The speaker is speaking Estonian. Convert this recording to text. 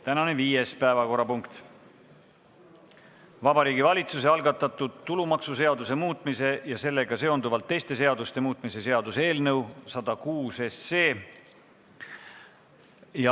Tänane viies päevakorrapunkt on Vabariigi Valitsuse algatatud tulumaksuseaduse muutmise ja sellega seonduvalt teiste seaduste muutmise seaduse eelnõu 106.